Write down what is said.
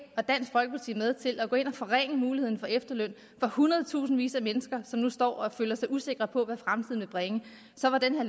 og dansk folkeparti med til at forringe muligheden for efterløn for hundredtusindvis af mennesker som nu står og føler sig usikre på hvad fremtiden vil bringe så var det her